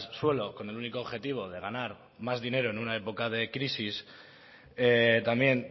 suelo con el único objetivo de ganar más dinero en una época de crisis también